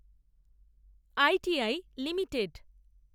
ITI limited